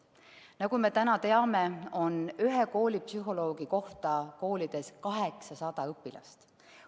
Nagu me teame, on ühe koolipsühholoogi kohta koolis 800 õpilast.